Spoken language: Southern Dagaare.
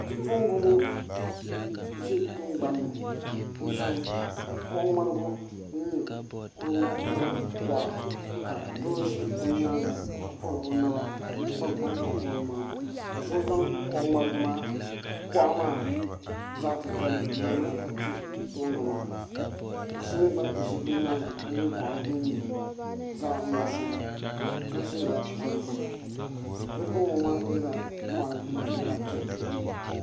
Noba la a be teɛ puliŋ, a vootiri ka ba iri ba nembɛrɛ, bamine arɛɛ la, ka bamine a zeŋ, ka nempelaa ane kaŋa a are, ka kaŋa gɔle piŋ boma ba naŋ biŋ.